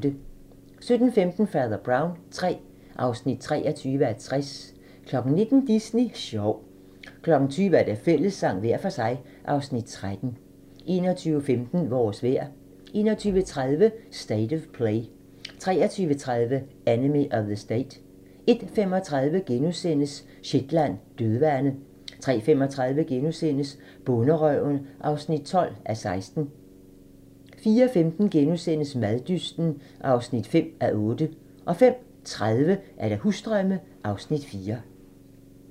17:15: Fader Brown III (23:60) 19:00: Disney sjov 20:00: Fællessang – hver for sig (Afs. 13) 21:15: Vores vejr 21:30: State of Play 23:30: Enemy of the State 01:35: Shetland: Dødvande * 03:35: Bonderøven (12:16)* 04:15: Maddysten (5:8)* 05:30: Husdrømme (Afs. 4)